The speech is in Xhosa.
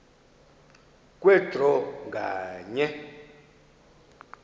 kwe draw nganye